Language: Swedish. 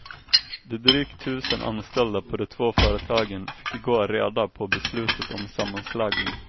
De drygt tusen anställda på de två företagen fick i går reda på beslutet om sammanslagning.